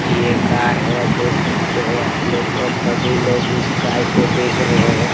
इ एक गाय है देख सकते है आपलोग और सभी लोग इस गाय को देख रहे है।